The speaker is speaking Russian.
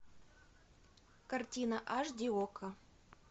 картина аш ди окко